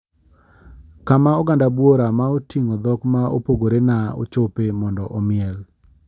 Kama oganda buora ma otingo dhok ma opogore na ochope mondo omiel.